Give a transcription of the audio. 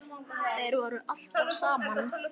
Þeir voru alltaf saman.